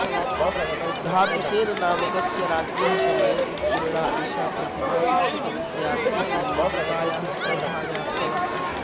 धातुसेननामकस्य राज्ञः समये उत्कीर्णा एषा प्रतिमा शिक्षकविद्यार्थिषु योजितायाः स्पर्धायाः फलम् अस्ति